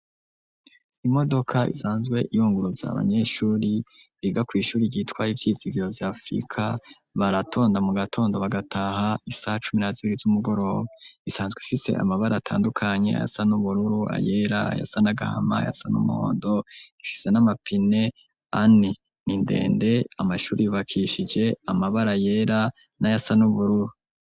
Imodoka isanzwe iyunguruza abanyeshuri biga kw'ishuri ryitwaye ivyisi viyo vy'afurika baratonda mu gatondo bagataha isaha cumi na zibiri z'umugoroba isanzwe fise amabari atandukanyi aya san'umururu ayera ya sa n'agahama yasa n'umuhondo gishise n'amapine ani ni indende amashuri bakishije amabara yera n'aya sanubururu.